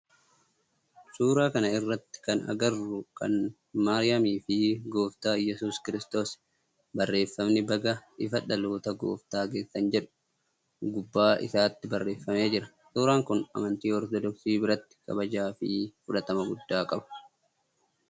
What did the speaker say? Suuraa kana irratti kana agarru kan maariyaamii fi gooftaa Iyyasuus kiristoos. Barreeffamni baga ifa dhaloota gooftaan geessaan jedhu gubbaa isaatti barreeffamee jira. Suuraan kun amantii ortodoksii biratti kabajaa fi fudhatama guddaa qaba.